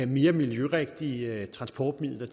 mere miljørigtige transportmidler